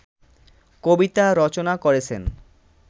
কবিতা রচনা করেছেন